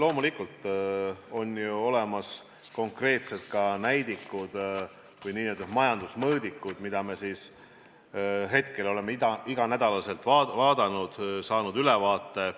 Loomulikult on ju olemas konkreetselt näidikud või n-ö majandusmõõdikud, mida me oleme iga nädal vaadanud ja saanud ülevaate.